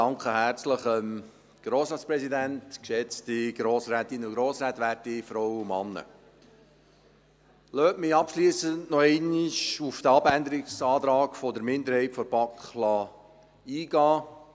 Lassen Sie mich abschliessend noch einmal auf den Abänderungsantrag der Minderheit der BaK eingehen.